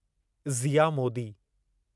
Zia Modi